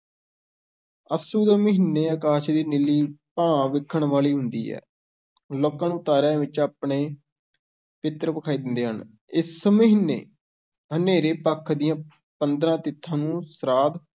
ਅੱਸੂ ਦੇ ਮਹੀਨੇ ਅਕਾਸ਼ ਦੀ ਨੀਲੀ ਭਾਹ ਵੇਖਣ ਵਾਲੀ ਹੁੰਦੀ ਹੈ, ਲੋਕਾਂ ਨੂੰ ਤਾਰਿਆਂ ਵਿੱਚ ਆਪਣੇ ਪਿੱਤਰ ਵਿਖਾਈ ਦਿੰਦੇ ਹਨ, ਇਸ ਮਹੀਨੇ ਹਨੇਰੇ ਪੱਖ ਦੀਆਂ ਪੰਦਰਾਂ ਤਿਥਾਂ ਨੂੰ ਸ੍ਰਾਧ